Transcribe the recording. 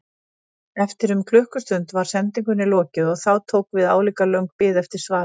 Eftir um klukkustund var sendingunni lokið og þá tók við álíka löng bið eftir svari.